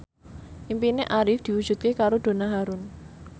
impine Arif diwujudke karo Donna Harun